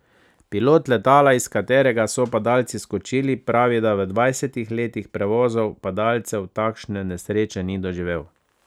Pilot letala, iz katerega so padalci skočili, pravi, da v dvajsetih letih prevozov padalcev takšne nesreče ni doživel.